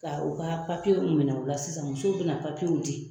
Ka u ka papiyew minɛ u la sisan musow bɛ na papiye mun di